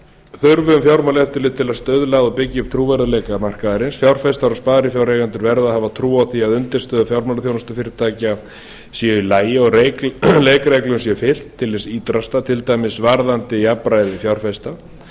þurfum fjármálaeftirlit til að stuðla og byggja upp trúverðugleika markaðarins fjárfestar og sparifjáreigendur verða að hafa trú á því að undirstöður fjármálaþjónustufyrirtækja séu í lagi og leikreglum sé fylgt til hins ýtrasta til dæmis varðandi jafnræði fjárfesta